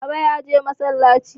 Baba ya je masallaci.